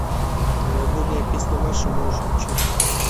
новогодняя песня маши можешь включить